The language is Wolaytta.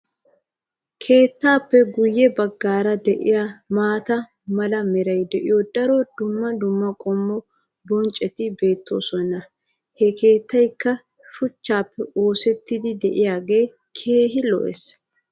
keettaappe guyye baggaara diya maata mala meray de'iyo daro dumma dumma qommo bonccoti beetoosona. ha keettaykka shuchchappe oosettidi diyaagee keehi lo''ees.